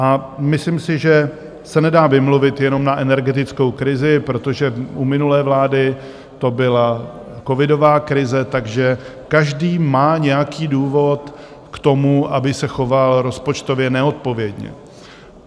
A myslím si, že se nedá vymluvit jenom na energetickou krizi, protože u minulé vlády to byla covidová krize, takže každý má nějaký důvod k tomu, aby se choval rozpočtově neodpovědně.